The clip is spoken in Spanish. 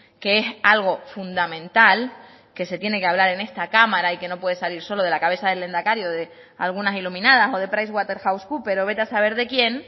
que es algo fundamental que se tiene que hablar en esta cámara y que no puede salir solo de la cabeza del lehendakari o de algunas iluminadas o de pricewaterhousecoopers o vete a saber de quién